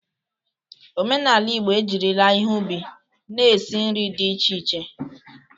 Omenala Igbo ejirila ihe ubi na-esi nri dị iche iche.